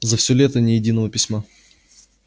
за всё лето ни единого письма